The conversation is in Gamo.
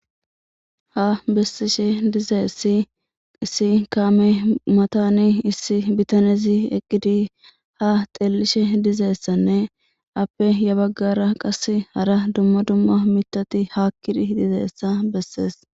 Ha bessishe dize si issi kaame mataani issi bitanezi eqqidi ha xellishe dizeessanne appe ya baggara qasse hara dumma dumma mitati haakkidi dizeeessa bessees.